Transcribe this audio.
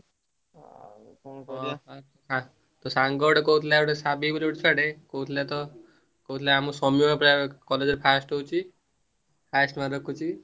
ତୋ ସାଙ୍ଗ ଗୋଟେ କହୁଥିଲା ସାବି ବୋଲି ଛୁଆ ଟେ କହୁଥିଲା ତ ମୁଁ college ରେ first ହଉଛି highest mark ରଖୁଛି।